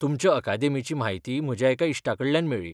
तुमचे अकादेमीची म्हायती म्हज्या एका इश्टाकडल्यान मेळ्ळी.